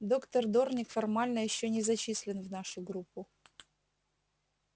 доктор дорник формально ещё не зачислен в нашу группу